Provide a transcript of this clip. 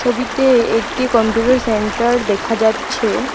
ছবিতে একটি computer centre দেখা যাচ্ছে।